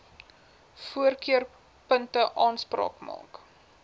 voorkeurpunte aanspraak maak